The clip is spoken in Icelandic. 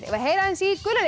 við að heyra aðeins í gula